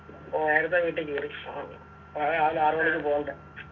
നേരത്തെ വീട്ടികേറി നാളെ രാവിലെ ആറുമണിക്ക് പോണ്ടേ